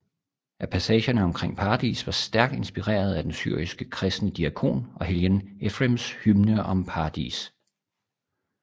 At passagerne omkring paradis var stærkt inspireret af den syriske kristne diakon og helgen Ephrems hymne om paradis